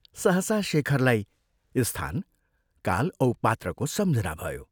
सहसा शेखरलाई स्थान, काल औ पात्रको सम्झना भयो।